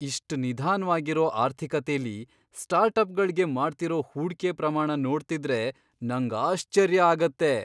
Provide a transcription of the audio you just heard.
ಇಷ್ಟ್ ನಿಧಾನ್ವಾಗಿರೋ ಆರ್ಥಿಕತೆಲಿ ಸ್ಟಾರ್ಟ್ಅಪ್ಗಳ್ಗೆ ಮಾಡ್ತಿರೋ ಹೂಡ್ಕೆ ಪ್ರಮಾಣ ನೋಡ್ತಿದ್ರೆ ನಂಗ್ ಆಶ್ಚರ್ಯ ಆಗತ್ತೆ.